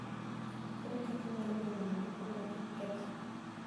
Ere kaka inyalo geng'o mondo brooder kik kethre?